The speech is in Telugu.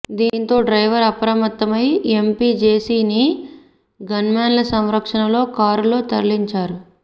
దీంతో డ్రైవర్ అప్రమత్తమై ఎంపీ జేసీని గన్మెన్ల సంరక్షణలో కారులో తరలించారు